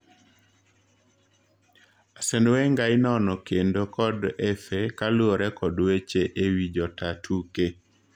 Arsene Wenger inono kendo kod FA kaluore kod weche ewii jotaa tuke.